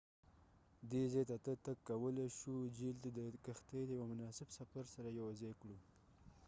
دي ځاته ته تګ کولای شو جهیل ته د کښتی د یو مناسب سفر سره یوځای کړو